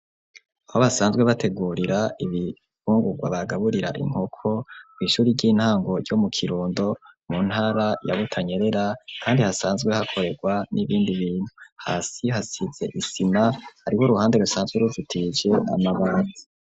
Aho basanzwe bategurira, ibifungurwa, bagaburira inkoko, kw'ishuri ry'intango, ryo mu Kirundo, mu ntara ya Butanyerera; kandi, hasanzwe hakorerwa, n'ibindi bintu; hasi hasize isima, hariho uruhande, rusanzwe ruzitije amabati.